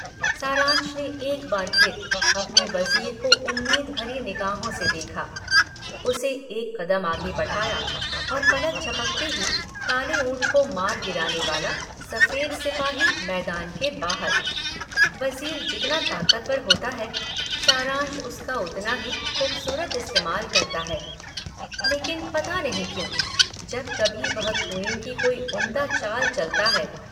सारंश ने एक बार फिर अपने वज़ीर को उम्मीद भरी निगाहों से देखा, उसे एक कदम आगे बढ़ाया और पलक झपकते ही काले ऊंट को मार गिराने वाला सफेद सिपाही मैदान के बाहर। वज़ीर जितना ताकतवर होता है सारंश उसका उतना ही खूबसूरत इस्तेमाल करता है, लेकिन पता नहीं क्यों जब कभी वह 'क्वीन' की कोई उम्दा चाल चलता है।